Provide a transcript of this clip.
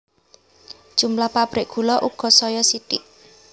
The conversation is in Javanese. Jumlah pabrik gula uga saya sithik